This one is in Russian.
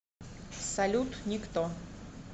салют никто